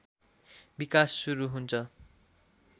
विकास सुरु हुन्छ